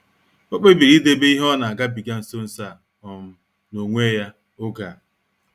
Ọ kpebiri idebe ihe o nagabiga nso nso a um n'onwe ya oge a.